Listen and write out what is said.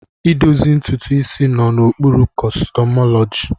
Idozi ntutu isi nọ n'okpuru kọsmetọlọji.